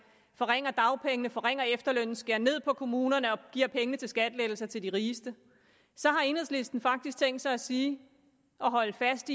forringer dagpengene forringer efterlønnen skærer ned i kommunerne og giver pengene til skattelettelser til rigeste så har enhedslisten faktisk tænkt sig at sige og holde fast